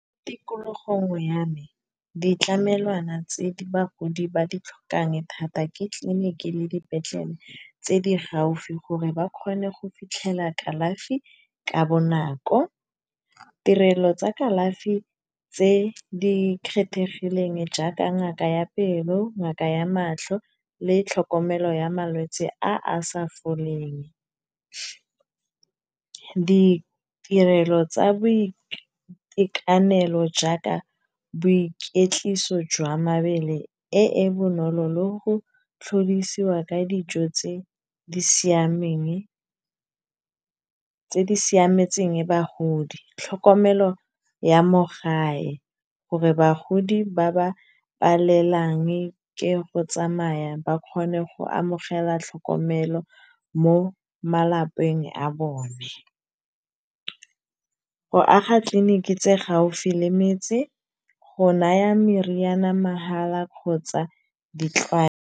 Tikologong ya me ditlamelwana tse di bagodi ba ditlhokang thata ke tlileniki le dipetlele, tse di gaufi gore ba kgone go fitlhela kalafi ka bonako. Tirelo tsa kalafi tse di kgethegileng jaaka ngaka ya pelo ngaka ya matlho, le tlhokomelo ya malwetse a a sa foleng. Ditirelo tsa boitekanelo jaaka boikwetliso jwa mabele, e e bonolo lo go tlhodisiwa ka dijo tse di siametseng bagodi. Tlhokomelo ya mo gae, gore bagodi ba ba palelwang ke go tsamaya ba kgone go amogela tlhokomelo, mo malapeng a bone. Go aga tleliniki tse gaufi le metse, go naya meriana mahala kgotsa di .